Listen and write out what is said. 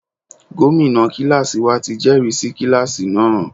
Gómìnà kíláàsì wa ti jẹ́rìsí kíláàsì náà.